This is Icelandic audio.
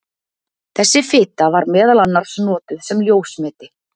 Þessi fita var meðal annars notuð sem ljósmeti.